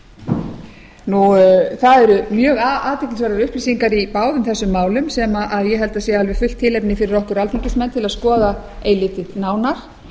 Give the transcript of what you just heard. á þeirra borð það eru mjög athyglisverðar upplýsingar í báðum þessum málum sem ég held að sé alveg fullt tilefni fyrir okkur alþingismenn til að skoða eilítið nánar